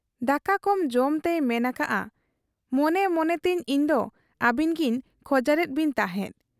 ᱫᱟᱠᱟ ᱠᱚᱢ ᱡᱚᱢᱛᱮᱭ ᱢᱮᱱ ᱟᱠᱟᱜ ᱟ, 'ᱢᱚᱱᱮ ᱢᱚᱱᱮᱛᱮ ᱤᱧᱫᱚ ᱟᱹᱵᱤᱱᱜᱤᱧ ᱠᱷᱚᱡᱟᱨᱮᱫ ᱵᱤᱱ ᱛᱟᱦᱮᱸᱫ ᱾